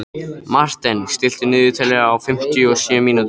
Marthen, stilltu niðurteljara á fimmtíu og sjö mínútur.